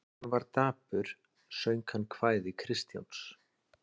Þegar hann var dapur söng hann kvæði Kristjáns